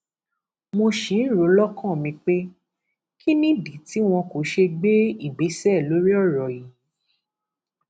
mo ṣì ń rò ó lọkàn mi pé kín nìdí tí wọn kò ṣe gbé ìgbésẹ lórí ọrọ yìí